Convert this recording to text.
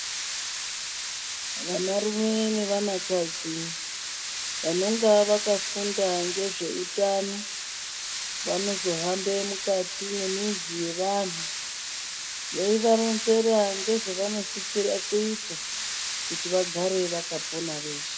Vanarume nevanakadzi vanonga vakafunda ngezveutano vanozohambe mukati memizi yevanhu veivaronzera ngezvavanosisire kita kuti vagare vakapona veshe.